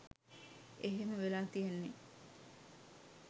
එහෙම වෙලා තියෙන්නෙ